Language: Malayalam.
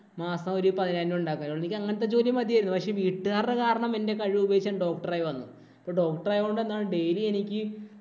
മാസം ഒരു പതിനായിരം രൂപ ഉണ്ടാക്കാം. എനിക്ക് അങ്ങനത്തെ ജോലി മതിയായിരുന്നു. പക്ഷേ വീട്ടുകാരുടെ കാരണം എന്‍റെ കഴിവ് ഉപയോഗിച്ച് ഞാൻ doctor ആയി വന്നു. ഇപ്പൊ doctor ആയോണ്ട് എന്താണ് daily എനിക്ക്